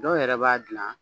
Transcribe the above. Dɔw yɛrɛ b'a dilan